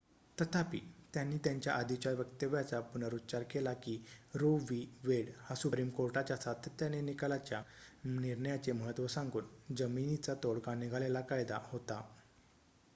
"तथापि त्यांनी त्यांच्या आधीच्या वक्तव्याचा पुनरुच्चार केला की रो वि. वेड हा सुप्रीम कोर्टाच्या सातत्याने निकालाच्या निर्णयाचे महत्त्व सांगून "जमीनचा तोडगा निघालेला कायदा" होता.